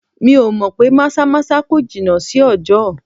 Mi ò mọ̀ pé maza-maza kò jìnà sí ọjọ.